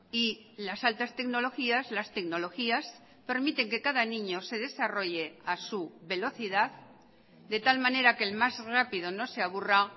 y las altas tecnologías las tecnologías permiten que cada niño se desarrolle a su velocidad de tal manera que el más rápido no se aburra